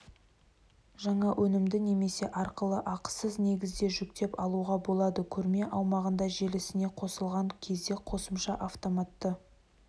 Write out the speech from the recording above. жаңа өнімді немесе арқылы ақысыз негізде жүктеп алуға болады көрме аумағында желісіне қосылған кезде қосымша автоматты